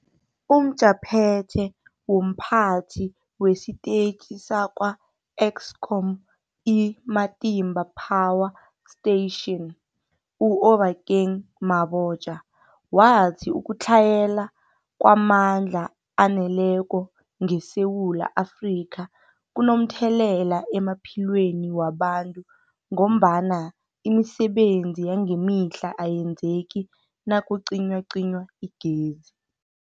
UmJaphethe womPhathi wesiTetjhi sakwa-Eskom i-Matimba Power Station u-Obakeng Mabotja wathi ukutlhayela kwamandla aneleko ngeSewula Afrika kunomthelela emaphilweni wabantu ngombana imisebenzi yangemihla ayenzeki nakucinywacinywa igezi.